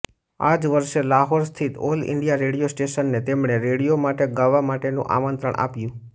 આજ વર્ષે લાહોર સ્થિત ઓલ ઈન્ડિયા રેડિયો સ્ટેશને તેમને રેડિયો માટે ગાવા માટેનું આમંત્રણ આપ્યું